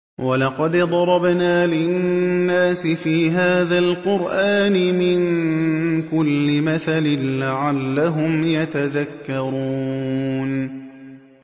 وَلَقَدْ ضَرَبْنَا لِلنَّاسِ فِي هَٰذَا الْقُرْآنِ مِن كُلِّ مَثَلٍ لَّعَلَّهُمْ يَتَذَكَّرُونَ